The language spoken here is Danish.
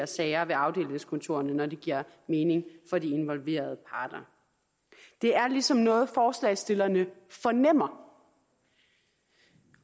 sager ved afdelingskontorerne når det giver mening for de involverede parter det er ligesom noget forslagsstillerne fornemmer